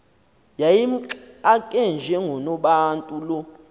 yayimxake njengonobantu lo